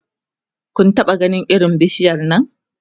Kun taɓa ganin irin bishiyar Nan?